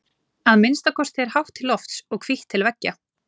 Að minnsta kosti er hátt til lofts og hvítt til veggja.